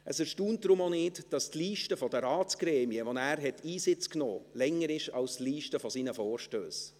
Es erstaunt deshalb auch nicht, dass die Liste der Ratsgremien, in die er Einsitz nahm, länger ist als die Liste seiner Vorstösse.